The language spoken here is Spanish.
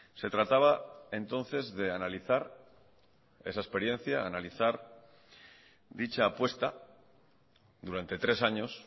se trataba entonces de analizar esa experiencia analizar dicha apuesta durante tres años